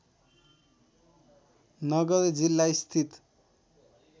नगर जिल्ला स्थित